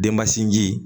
Denba sinji